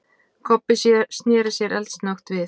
Kobbi sneri sér eldsnöggt við.